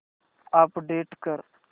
update कर